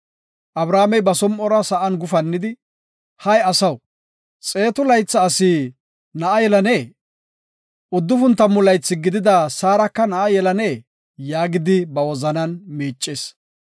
Abrahaamey ba som7uwara sa7an gufannidi, “Hay asaw, xeetu laytha asi na7a yelanee? Uddufun tammu laythi gidida Saarika na7a yelanee?” yaagidi ba wozanan miicis.